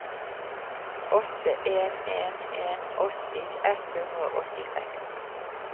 åtte en en en åtti ett hundre og åttiseks